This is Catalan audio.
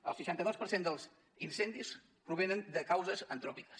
el seixanta dos per cent dels incendis provenen de causes antròpiques